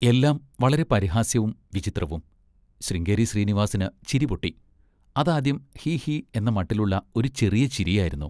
എല്ലാം വളരെ പരിഹാസ്യവും വിചിത്രവും! ശൃംഗേരി ശ്രീനിവാസിന് ചിരിപൊട്ടി. അതാദ്യം ഹീ ഹീ എന്ന മട്ടിലുള്ള ഒരു ചെറിയ ചിരിയായിരുന്നു.